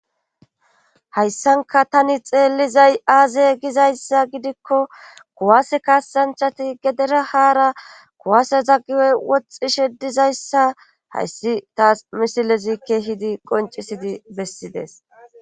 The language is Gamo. Hayssankka taani xeellizay aaze gizayssa gidikko kuwaase kaasanchati gedera haara kuwaaseza guye woxxishe dizayssa hayssi taas misilezi keehidi qonccisidi bessides.